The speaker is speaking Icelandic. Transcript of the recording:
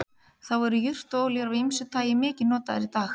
þá eru jurtaolíur af ýmsu tagi mikið notaðar í dag